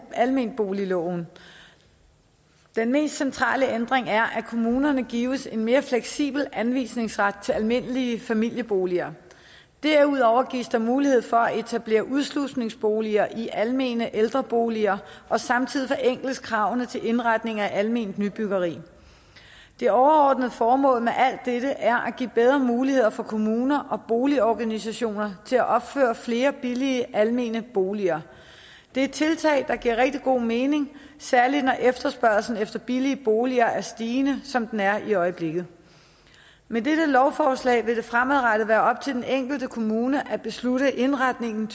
almenboligloven den mest centrale ændring er at kommunerne gives en mere fleksibel anvisningsret til almindelige familieboliger derudover gives der mulighed for at etablere udslusningsboliger i almene ældreboliger og samtidig forenkles kravene til indretning af alment nybyggeri det overordnede formål med alt dette er at give bedre muligheder for at kommuner og boligorganisationer kan opføre flere billige almene boliger det er tiltag der giver rigtig god mening særlig når efterspørgslen efter billige boliger er stigende som den er i øjeblikket med dette lovforslag vil det fremadrettet være op til den enkelte kommune at bestemme indretningen